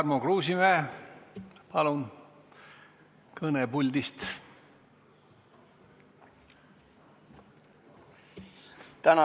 Tarmo Kruusimäe, palun kõne puldist!